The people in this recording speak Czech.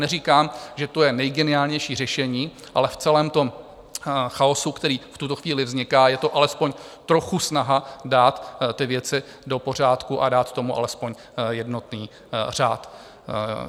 Neříkám, že to je nejgeniálnější řešení, ale v celém tom chaosu, který v tuto chvíli vzniká, je to alespoň trochu snaha dát ty věci do pořádku a dát tomu alespoň jednotný řád.